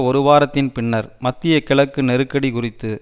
ஒரு வாரத்தின் பின்னர் மத்திய கிழக்கு நெருக்கடி குறித்து